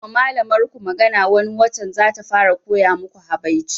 Zan ma malamar ku magana wani watan zata fara koya maku habaici